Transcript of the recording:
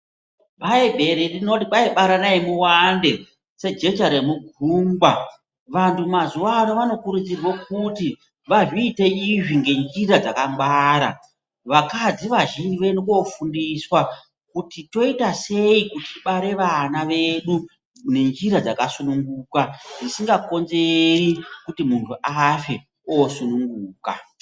Bhaibheri rinoti baranai muwande sejecha remugungwa, vantu mazuva ano vanokurudzirwa kuti vazviite izvi ngenzira dzakangwara, vakadzi vazhinji veende kunofundiswa kuti toite sei kuti tibare vana vedu nenjira dzakasununguka, dzisingakonzeri kuti muntu afe osununguka.